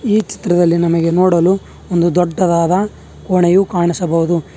ಈ ಚಿತ್ರದಲ್ಲಿ ನಮಗೆ ನೋಡಲು ಒಂದು ದೊಡ್ಡದಾದ ಕೋಣೆಯು ಕಾಣಿಸಬಹುದು.